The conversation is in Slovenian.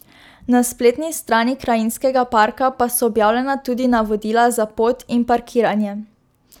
Na spletni strani krajinskega parka pa so objavljena tudi navodila za pot in parkiranje.